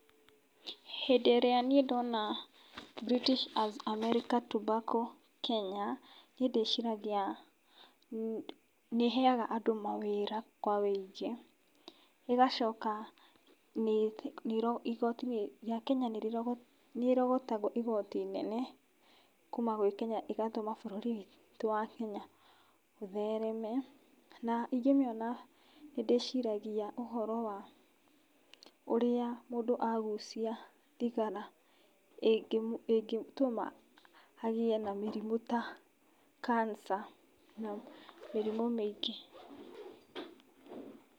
Hĩndĩ ĩrĩa niĩ ndona British and American Tobacco Kenya, niĩ ndĩciragia nĩ ĩheaga andũ mawĩra kwa ũingĩ, ĩgacoka nĩ igoti rĩa Kenya nĩ nĩ ĩrogotaga igoti inene kuuma gwĩ Kenya ĩgatũma bũrũri witũ wa Kenya ũthereme, na ingĩmĩona nĩ ndĩciragia ũhoro wa ũrĩa mũndũ agucia thigara ĩngĩtũma agĩe na mĩrimũ ta cancer na mĩrimũ mĩingĩ.